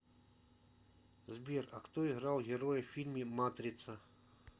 сбер а кто играл героя в фильме матрица